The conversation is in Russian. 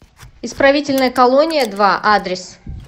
исправительная колония два адрес